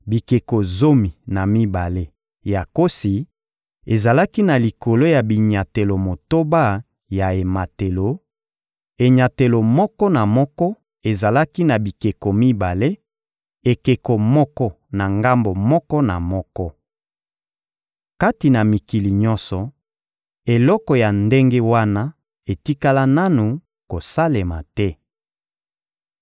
Bikeko zomi na mibale ya nkosi ezalaki na likolo ya binyatelo motoba ya ematelo: enyatelo moko na moko ezalaki na bikeko mibale, ekeko moko na ngambo moko na moko. Kati na mikili nyonso, eloko ya ndenge wana etikala nanu kosalema te.